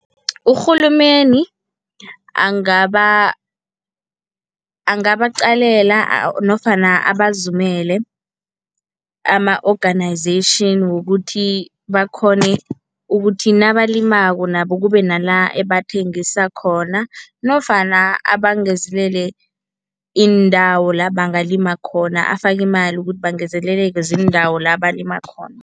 Urhulumeni angabaqalela nofana abazumele ama-organization wokuthi bakghone ukuthi nabalimako nabo kube nala ebathengisa khona nofana abangezelele iindawo la bangalima khona. Afake imali ukuthi bangezeleleke ziindawo la balima khona.